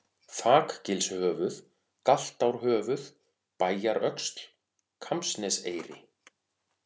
Þakgilshöfuð, Galtárhöfuð, Bæjaröxl, Kambsneseyri